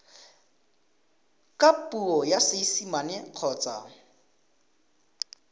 ka puo ya seesimane kgotsa